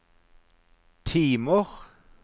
timer